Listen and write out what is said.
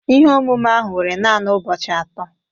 Ihe omume ahụ were naanị ụbọchị atọ